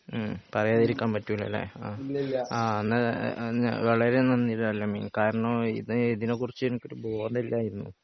മ്മ്ഹ് പറയാതിരിക്കാൻ പറ്റൂലല്ലേ അഹ് എന്ന വളരേ നന്ദി അൽ അമീൻ കാരണം ഇതിനെ കുറിച്ച് എനിക്കൊരു ബോധം ഇല്ലായിരുന്നു